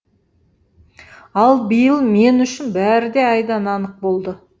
ал биыл мен үшін бәрі де айдан анық болды